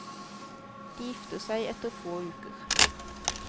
De gifter seg etter få uker.